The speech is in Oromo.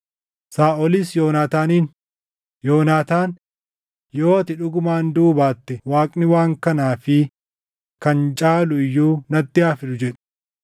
Saaʼolis Yoonaataaniin, “Yoonaataan, yoo ati dhugumaan duʼuu baatte Waaqni waan kanaa fi kan caalu iyyuu natti haa fidu” jedhe.